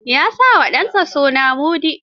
Ya sa wa ɗansa suna Mudi.